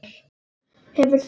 Hefur þú.?